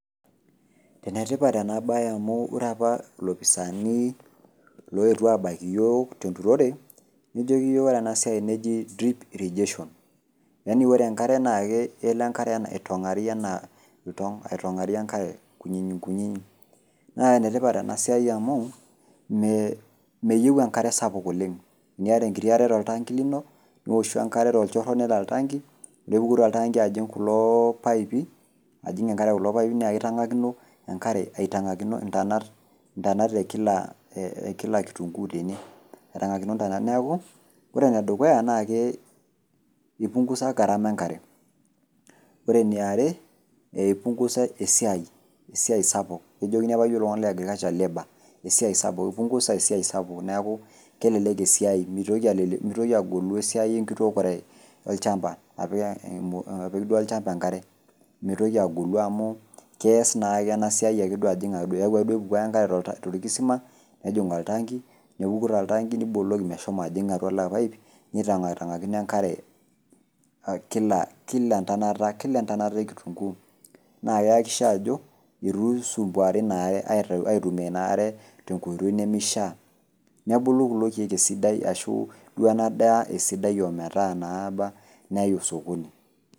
Enetipat enabae amu ore apa ilopisaani loetuo abaiki yiok tenturore, nejoki yiok ore enasiai neji, drip irrigation. Yani ore enkare naa kelo enkare aitong'ari enaa iltong',aitong'ari enkare nkunyinyinkunyinyi. Na enetipat enasiai amu, meyieu enkare sapuk oleng. Eniata enkiti are toltanki lino, niwoshu enkare tolchoro nelo oltanki, nepuku toltanki ajing' kulo paipi, ajing' enkare kulo paipi naa kitang'akino enkare aitang'akino intanat, intanat ekila kitunkuu tene. Aitang'akino ntanat. Neeku ore enedukuya, nake ipungusa gharama enkare. Ore eniare, eipungusa esiai sapuk, kejokini apa yiok iltung'anak le agriculture labour. Esiai sapuk, ipungusa esiai sapuk, neeku esiai mitoki agolu esiai enkitookore olchamba. Apik duo olchamba enkare. Mitoki agolu amu kees naake enasiai ajing' ake. Keeku kepuko ake duo enkare torkisima, nejing' oktanki, nepuku toltanki, niboloki meshomo ajing' atuo ilo paip, nitang'tong'akino enkare kila entonata e kitunkuu. Na keakisha ajo, itu isumbuari inaare, aitumia inaare tenkoitoi nimishaa. Nebulu kulo keek esidai, ashu duo enadaa esidai ometaa naaba, neai osokoni.